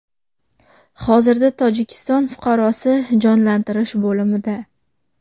Hozirda Tojikiston fuqarosi jonlantirish bo‘limida.